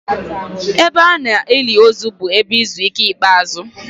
Ebe a na-eli ozu bụ ebe izu ike ikpeazụ.